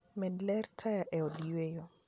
Med ler mar taya e od yweyo.